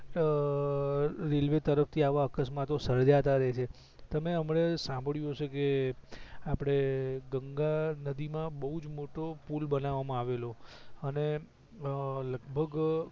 અ અ રેલવે તરફ થી આવા અકસ્માતો સર્જાતાં રે છે તમે અમને સાંભડિયું હસે કે આપડે ગંગા નદી માં બવજ મોટો પુલ બનાવામાં આવેલો અને લગભગ